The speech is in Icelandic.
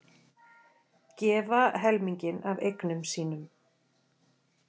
Gefa helminginn af eignum sínum